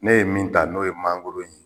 Ne ye min ta n'o ye mangoro ye